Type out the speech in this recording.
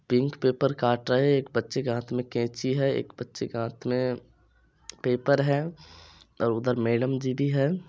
Pink paper काट रहे एक बच्चे के हाथ मे कैंची है एक बच्चे के हाथ मे पेपर है और उधर मैडम जी भी है।